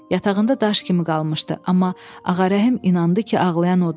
Yatağında daş kimi qalmışdı, amma Ağarəhim inandı ki, ağlayan odur.